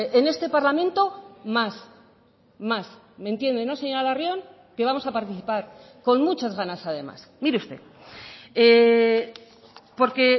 en este parlamento más más me entiende no señora larrión que vamos a participar con muchas ganas además mire usted porque